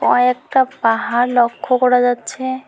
কয়েকটা পাহাড় লক্ষ্য করা যাচ্ছে।